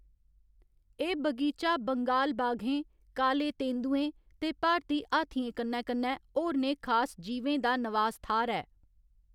एह्‌‌ बगीचा बंगाल बाघें, काले तेंदुएं ते भारती हाथियें कन्नै कन्नै होरनें खास जीवें दा नवास थाह्‌‌‌र ऐ।